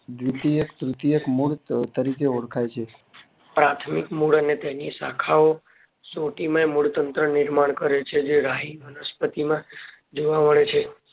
દ્રિતીય તૃતીય મૂળ તરીકે ઓળખાય છે પ્રાથમિક મૂળ અને તેની શાખા ઓ શોઘી ને મૂળ તંત્ર નિર્માણ કરે છે જે રાહી વનસ્પતિ માં જોવા મળે છે